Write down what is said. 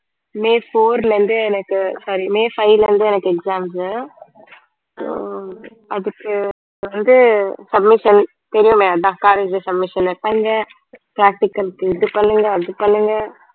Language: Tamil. மே four ல இருந்து எனக்கு sorry மே five ல இருந்து எனக்கு exams உ so அதுக்கு வந்து submission தெரியுமே அதான் college submission ல practical க்கு இது பண்ணுங்க அது பண்ணுங்க